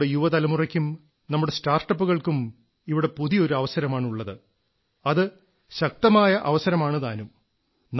നമ്മുടെ യുവ തലമുറയ്ക്കും നമ്മുടെ സ്റ്റാർട്ടപ്പുകൾക്കും ഇവിടെ പുതിയ ഒരു അവസരമാണുള്ളത് അത് ശക്തമായ അവസരമാണുതാനും